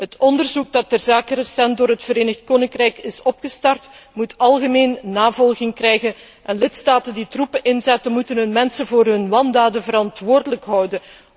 Het onderzoek ter zake dat recent door het Verenigd Koninkrijk is gestart moet algemeen navolging krijgen en lidstaten die troepen inzetten, moeten hun mensen voor hun wandaden verantwoordelijk houden.